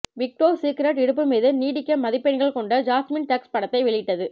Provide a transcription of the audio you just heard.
விக்டோஸ்ஸ் Secret இடுப்பு மீது நீட்டிக்க மதிப்பெண்கள் கொண்ட ஜாஸ்மின் டக்ஸ் படத்தை வெளியிட்டது